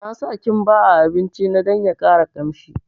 Na sa kimba a abinci na dan ya ƙara kamshi